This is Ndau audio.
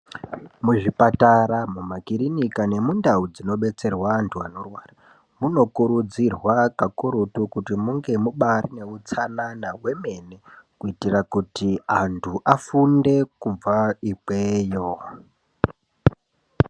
Muzvipatara mumakirinika nemundau dzinodetserwa antu anorwara munokurudzirwa kakurutu kuti munge muine utsanana hwemene kuitira kuti antu afunde kubva ikweyo .